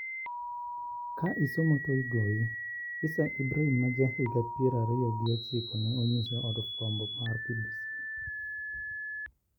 Ka isomo to igoyi. Isa Ibrahim ma ja higa pier ariyo gi ochiko ne onyiso od fuambo mar BBC.